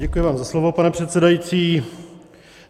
Děkuji vám za slovo, pane předsedající.